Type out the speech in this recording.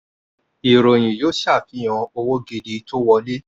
ìròyìn yóò ṣàfihàn owó gidi tó wọlé.